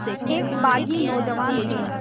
एक बाग़ी नौजवान थे